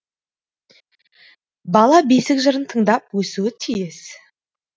бала бесік жырын тыңдап өсуі тиіс